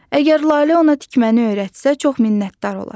Əgər Lalə ona tikməni öyrətsə, çox minnətdar olar.